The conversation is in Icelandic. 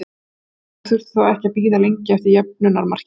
Keflvíkingar þurftu þó ekki að bíða lengi eftir jöfnunarmarkinu.